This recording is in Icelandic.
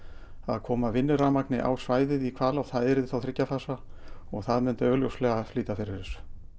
koma vinnurafmagni á svæðið við Hvalá og það yrði þá þriggja fasa og það myndi augljóslega flýta fyrir þessu